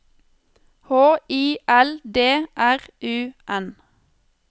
H I L D R U N